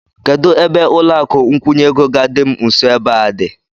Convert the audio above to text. Kedụ ebe ụlọakụ nkwụnye ego ga-adị m nso ebe a dị?